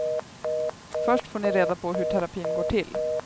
Först får ni reda på hur terapin går till.